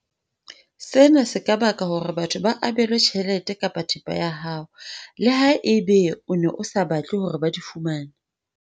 Sena se ka baka hore batho ba abelwe tjhelete kapa thepa ya hao, leha ebe o ne o sa batle hore ba di fumane.